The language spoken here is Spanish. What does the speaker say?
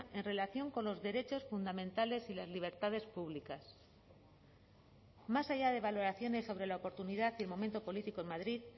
en relación con los derechos fundamentales y las libertades públicas más allá de valoraciones sobre la oportunidad del momento político en madrid